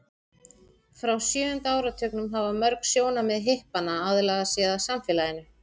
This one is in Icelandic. frá sjöunda áratugnum hafa mörg sjónarmið hippanna aðlagað sig að samfélaginu